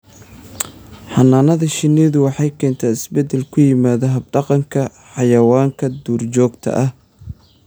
Xannaanada shinnidu waxay keentaa isbeddel ku yimaada hab-dhaqanka xayawaanka duurjoogta ah.